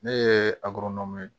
Ne ye agoronɔn ye